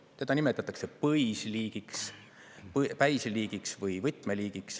Teda nimetatakse päisliigiks või võtmeliigiks.